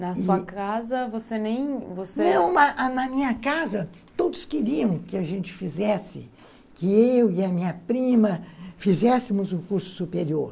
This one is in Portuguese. Na sua casa, você nem... Você, não, na minha casa, todos queriam que a gente fizesse, que eu e a minha prima fizéssemos um curso superior.